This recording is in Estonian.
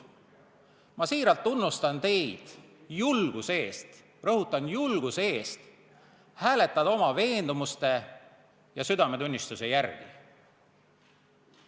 Ma siiralt tunnustan teid julguse eest – rõhutan: julguse eest – hääletada oma veendumuste ja südametunnistuse järgi.